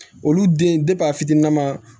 Olu den a fitiniman